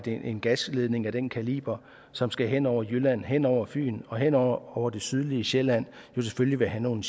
en gasledning af den kaliber som skal hen over jylland hen over fyn og hen over over det sydlige sjælland selvfølgelig vil have nogle